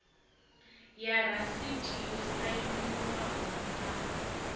ya rasiti yo sainwaho ya